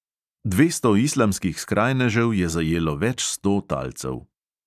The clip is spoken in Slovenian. Dvesto islamskih skrajnežev je zajelo več sto talcev.